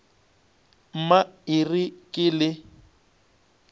mma e re ke le